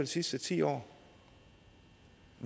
sidste ti år